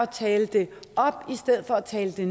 tale det op i stedet for at tale det